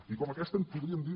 i com aquesta en podríem dir